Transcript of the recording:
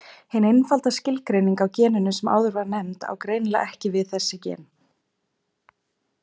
Hin einfalda skilgreining á geninu sem áður var nefnd á greinilega ekki við þessi gen.